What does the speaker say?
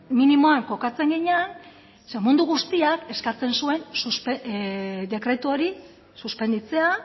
minimoan kokatzen ginen ze mundu guztiak eskatzen zuen dekretu hori suspenditzea